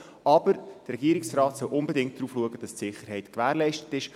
Aber der Regierungsrat soll unbedingt darauf achten, dass die Sicherheit gewährleistet ist.